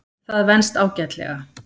Það venst ágætlega.